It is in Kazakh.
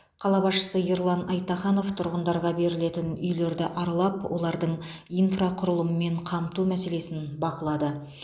қала басшысы ерлан айтаханов тұрғындарға берілетін үйлерді аралап олардың инфрақұрылымы мен қамту мәселесін бақылады